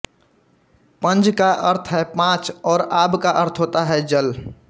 पंज का अर्थ है पाँच और आब का अर्थ होता है जल